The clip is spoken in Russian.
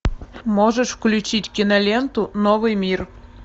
можешь включить киноленту новый мир